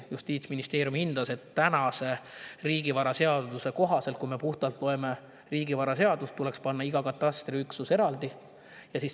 Justiitsministeerium hindas, et riigivaraseaduse kohaselt, kui me seda loeme, tuleks panna iga katastriüksus eraldi.